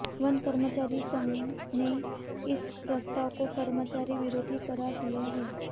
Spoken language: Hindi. वन कर्मचारी संघ ने इस प्रस्ताव को कर्मचारी विरोधी करार दिया है